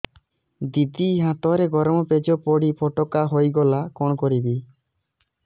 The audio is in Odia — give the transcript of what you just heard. ଦିଦି ହାତରେ ଗରମ ପେଜ ପଡି ଫୋଟକା ହୋଇଗଲା କଣ କରିବି